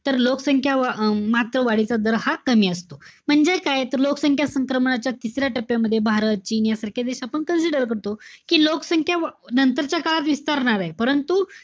तर लोकसंख्या व~ अं मात्र वाढीचा दर हा कमी असेल. म्हणजेच काय? तर लोकसंख्या संक्रमणाच्या तिसऱ्या टप्प्यामध्ये भारत, चीन यासारख्या देश आपण consider करतो. कि लोकसंख्या नंतरच्या काळात विस्तारणार ए. परंतु,